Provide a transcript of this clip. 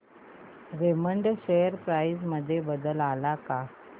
Raymond share price मध्ये बदल आलाय का